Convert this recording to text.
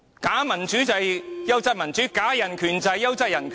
假民主便是"優質民主"，假人權便是"優質人權"。